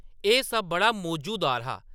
एह्‌‌ सब बड़ा मौजूदार हा ।